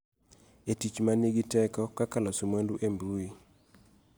E tich ma nigi teko kaka loso mwandu e mbui.